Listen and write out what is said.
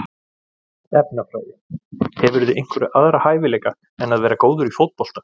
Efnafræði Hefurðu einhverja aðra hæfileika en að vera góður í fótbolta?